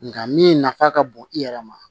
Nka min nafa ka bon i yɛrɛ ma